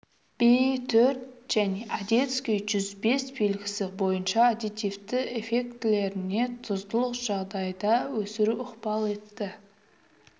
би төрт және одесский жүз бес белгісі бойынша аддитивті эффектілеріне тұздылық жағдайында өсіру ықпал етті